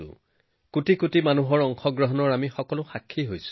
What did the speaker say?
আমি সকলোৱে ইয়াত কোটি কোটি লোকে অংশগ্ৰহণ কৰাৰ সাক্ষী